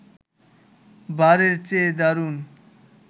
বারের চেয়ে দারুণ